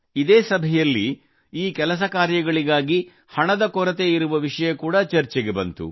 ಇದೇ ಸಭೆಯಲ್ಲಿ ಈ ಕೆಲಸ ಕಾರ್ಯಗಳಿಗಾಗಿ ಹಣದ ಕೊರತೆ ಇರುವ ವಿಷಯ ಕೂಡಾ ಚರ್ಚೆಗೆ ಬಂದಿತು